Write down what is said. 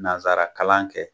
Nanzara kalan kɛ